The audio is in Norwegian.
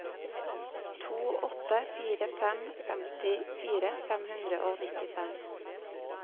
to åtte fire fem femtifire fem hundre og nittifem